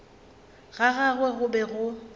ga gagwe go be go